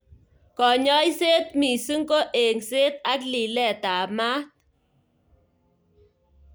Kanyoiset missing ko engset ak lilet ab mat.